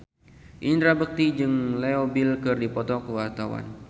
Indra Bekti jeung Leo Bill keur dipoto ku wartawan